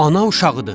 Ana uşağıdır.